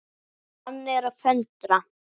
Hann er að föndra.